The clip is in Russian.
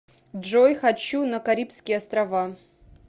джой хочу на карибские острава